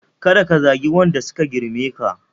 Ka da Ka zagi Wanda suka girme ka